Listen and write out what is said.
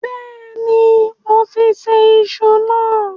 Bẹ́ẹ̀ni, moti ṣe iṣu náà.